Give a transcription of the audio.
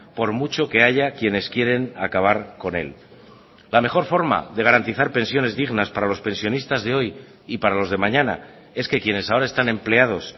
por mucho que haya quienes quieren acabar con él la mejor forma de garantizar pensiones dignas para los pensionistas de hoy y para los de mañana es que quienes ahora están empleados